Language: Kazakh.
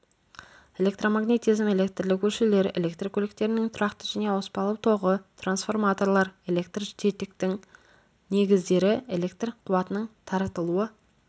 электромагнетизм электрлік өлшеулер электр көліктерінің тұрақты және ауыспалы тоғы трансформаторлар электр жетектің негіздері электр қуатының таратылуы